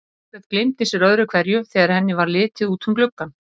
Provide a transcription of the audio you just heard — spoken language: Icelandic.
Margrét gleymdi sér öðru hverju þegar henni varð litið út um gluggann.